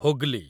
Hooghly